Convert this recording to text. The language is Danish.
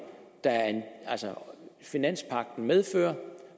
som finanspagten medfører